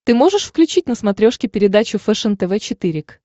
ты можешь включить на смотрешке передачу фэшен тв четыре к